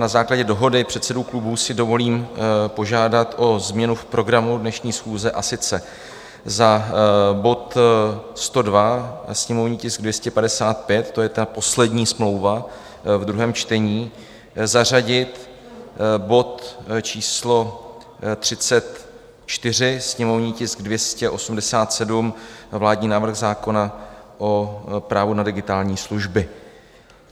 Na základě dohody předsedů klubů si dovolím požádat o změnu v programu dnešní schůze, a sice za bod 102, sněmovní tisk 255, to je ta poslední smlouva v druhém čtení, zařadit bod číslo 34, sněmovní tisk 287, vládní návrh zákona o právu na digitální služby.